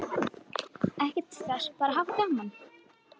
Ekkert stress, bara hafa gaman!